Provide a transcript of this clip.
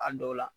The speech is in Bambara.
A dɔw la